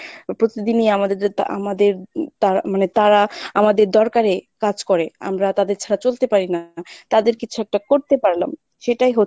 প্রতিদিনই আমাদের আমাদের হম তারা মানে তারা আমাদের দরকারে কাজ করে, আমরা তাদের ছাড়া চলতে পারি না, তাদের কিছু একটা করতে পারলাম।